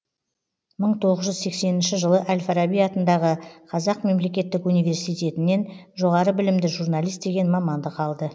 мың тоғыз жүз сексенінші жылы әль фараби атындағы қазақ мемлекеттік университетінен жоғары білімді журналист деген мамандық алды